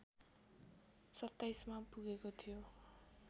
२७ मा पुगेको थियो